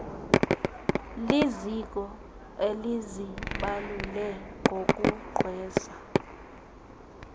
liziko elizibalule ngokugqwesa